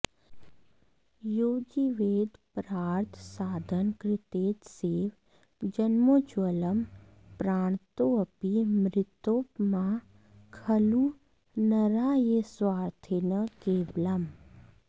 यो जीवेदपरार्थसाधनकृते तस्यैव जन्मोज्ज्वलं प्राणन्तोऽपि मृतोपमाः खलु नरा ये स्वार्थिनः केवलम्